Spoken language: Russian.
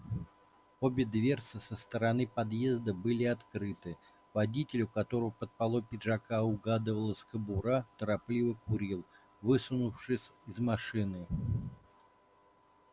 обе дверцы со стороны подъезда были открыты водитель у которого под полой пиджака угадывалась кобура торопливо курил высунувшись из машины